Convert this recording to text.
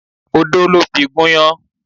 Odo ló fi gúnyán.